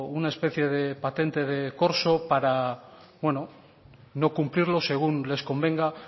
una especie de patente de corso para no cumplirlo según les convenga